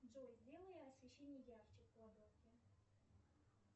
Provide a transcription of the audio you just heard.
джой сделай освещение ярче в кладовке